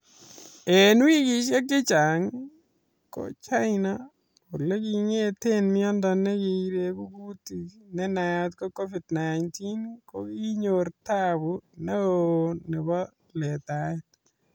En wikishek chechang ii ko China olekingeten Miondo nieregu kutik nenayat ko Covid 19 kokinyor tabu neo nebo letaet